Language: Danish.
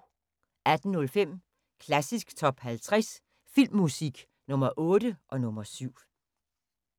18:05: Klassisk Top 50 Filmmusik – Nr. 8 og nr. 7